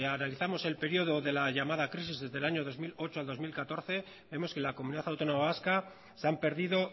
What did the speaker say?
analizamos el periodo de la llamada crisis desde el año dos mil ocho al dos mil catorce vemos que en la comunidad autónoma vasca se han perdido